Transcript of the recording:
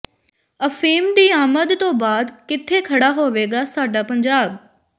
ਅਫ਼ੀਮ ਦੀ ਆਮਦ ਤੋਂ ਬਾਅਦ ਕਿਥੇ ਖੜਾ ਹੋਵੇਗਾ ਸਾਡਾ ਪੰਜਾਬ